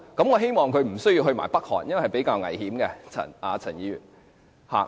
我希望她不要前往北韓，因為是比較危險的，陳議員。